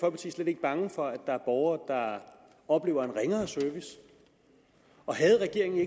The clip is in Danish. slet ikke bange for at der er borgere der oplever en ringere service og havde regeringen